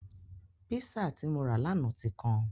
Písà tí mo rà lánàá ti kan.